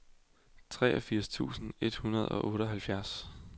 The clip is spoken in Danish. treogfirs tusind et hundrede og otteoghalvfjerds